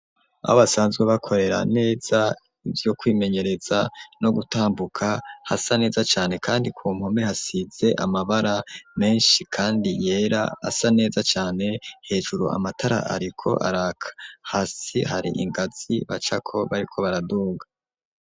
Aho basanzwe bakorera neza ivyo kwimenyereza no gutambuka, hasa neza cane, kandi ku mpome hasize amabara menshi, kandi yera asa neza cane; hejuru amatara ariko araka, hasi hari ingazi bacako bariko baraduga.